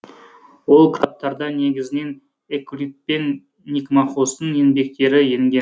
ол кітаптарда негізінен эвклид пен никмахостың еңбектері енген